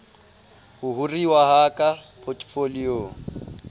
ho hiruwa ha ka potefoliong